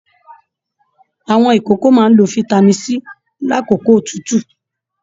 Àwọn ìkókó máa n ló fitami C lakoko otutu.